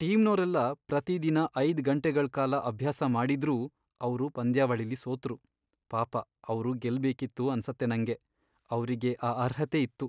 ಟೀಮ್ನೋರೆಲ್ಲ ಪ್ರತಿದಿನ ಐದ್ ಗಂಟೆಗಳ್ ಕಾಲ ಅಭ್ಯಾಸ ಮಾಡಿದ್ರೂ ಅವ್ರು ಪಂದ್ಯಾವಳಿಲಿ ಸೋತ್ರು. ಪಾಪ ಅವ್ರು ಗೆಲ್ಬೇಕಿತ್ತು ಅನ್ಸತ್ತೆ ನಂಗೆ. ಅವ್ರಿಗೆ ಆ ಅರ್ಹತೆ ಇತ್ತು.